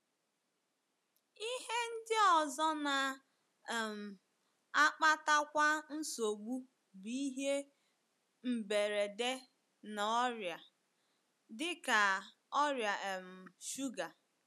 Ihe ndị ọzọ na um - akpatakwa nsogbu bụ ihe mberede na ọrịa, dị ka ọrịa um shuga.